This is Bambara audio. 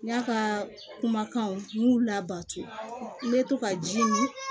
N y'a ka kumakanw n m'u labato n bɛ to ka ji mi